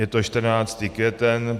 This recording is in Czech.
Je to 14. květen.